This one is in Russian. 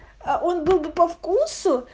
он был бы по вкусу